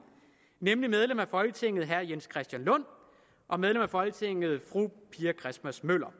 nemlig medlem af folketinget herre jens christian lund og medlem af folketinget fru pia christmas møller